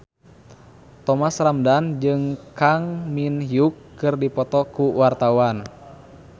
Thomas Ramdhan jeung Kang Min Hyuk keur dipoto ku wartawan